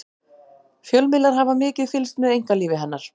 fjölmiðlar hafa mikið fylgst með einkalífi hennar